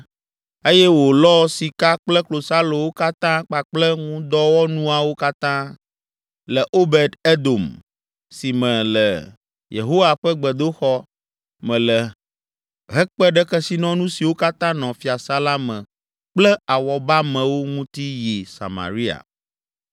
Eye wòlɔ sika kple klosalowo katã kpakple ŋudɔwɔnuawo katã le Obed Edom si me le Yehowa ƒe gbedoxɔ me le hekpe ɖe kesinɔnu siwo katã nɔ fiasã la me kple awɔbamewo ŋuti yi Samaria.